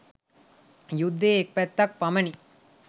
යුද්ධයේ එක් පැත්තක් පමණි.